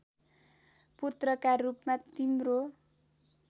पुत्रका रूपमा तिम्रो